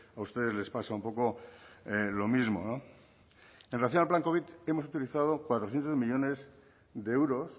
a ustedes les pasa un poco lo mismo en relación al plan covid hemos utilizado cuatrocientos millónes de euros